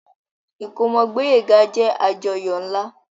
Ìkómọ Gboyega jẹ àjọyọ̀ nla.